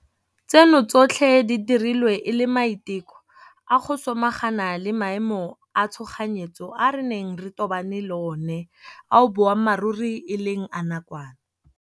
Tseno tsotlhe di dirilwe e le maiteko a go samagana le maemo a tshoganyetso a re neng re tobane le one ao boammaruri e leng a nakwana.